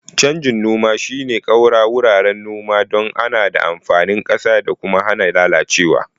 Canjin noma shine ƙaura wuraren noma don adana amfanin ƙasa da kuma hana lalacewa.